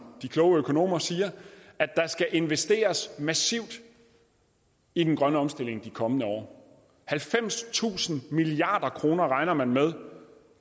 de kloge økonomer siger at der skal investeres massivt i den grønne omstilling de kommende år halvfemstusind milliard kroner regner man med